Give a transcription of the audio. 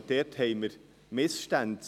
Dort haben wir Missstände.